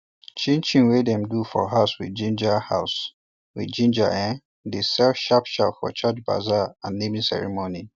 chinchin wey dem do for house with ginger house with ginger um dey sell sharpsharp for church bazaar and naming ceremony